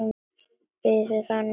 Biður hann að bíða aðeins.